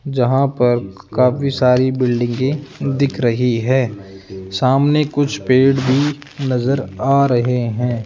जहां पर काफी सारी बिल्डिंगे की दिख रही है सामने कुछ पेड़ भी नजर आ रहे हैं।